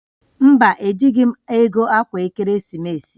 Mba, ejighi m ego akwa ekeresimesi